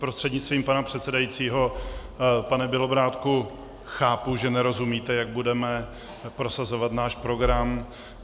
Prostřednictvím pana předsedajícího pane Bělobrádku, chápu, že nerozumíte, jak budeme prosazovat náš program.